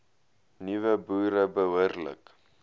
nuwe boere behoorlik